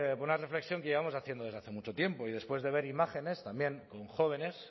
por una reflexión que llevamos haciendo desde hace mucho tiempo y después de ver imágenes también con jóvenes